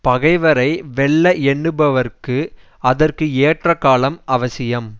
பகைவரை வெல்ல எண்ணுபவர்க்கு அதற்கு ஏற்ற காலம் அவசியம்